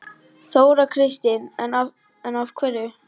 Þóra Kristín: En af hverju?